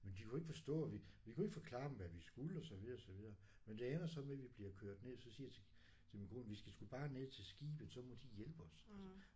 Men de kunne ikke forstå og vi vi kunne ikke forklare dem hvad vi skulle og så videre og så videre. Men det ender så med vi bliver kørt ned så siger jeg til til min kone vi skal sgu bare ned til skibet så må de hjælpe os altså